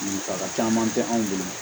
Musaka caman tɛ anw bolo